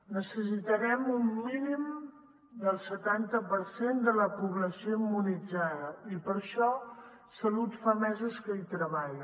necessitarem un mínim del setanta per cent de la població immunitzada i per això salut fa mesos que hi treballa